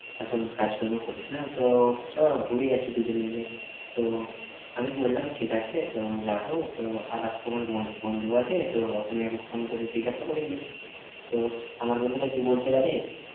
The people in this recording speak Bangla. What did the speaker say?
এখন কাজকর্ম করিস না, তো চল ঘুরে আসি দুজনে মিলে। তো আমি বললাম, ঠিক আছে তো যাব তো আরেকটা আমার বন্ধ~ বন্ধু আছে তো ওখানে একবার ফোন করে জিজ্ঞাসা করিনি। তো আমার বন্ধুটা কি বলছে জানিস্?